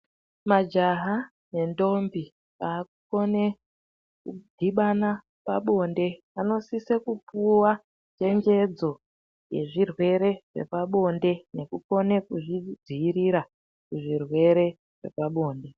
Majaha nendombi akukone kudhibana pabonde vanosisa kupuwa chenjedzo yezvirwere zvepabonde nekukone kuzvidziirira zvirwere zvepabonde.